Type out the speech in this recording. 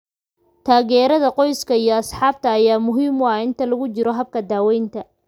Taageerada qoyska iyo asxaabta ayaa muhiim ah inta lagu jiro habka daaweynta.